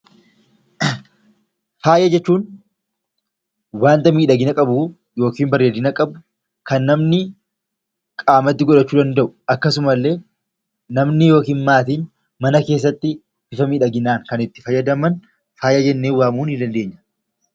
Faaya jechuun waanta miidhagina qabu yookiin bareedina qabu kan namni qaamatti godhachuu danda'u akkasuma illee namni yookiin maatiin mana keessatti bifa miidhaginaan kan itti fayyadaman faaya jennee waamuu ni dandeenya.